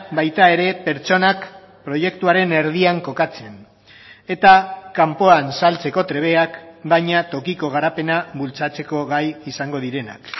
baita ere pertsonak proiektuaren erdian kokatzen eta kanpoan saltzeko trebeak baina tokiko garapena bultzatzeko gai izango direnak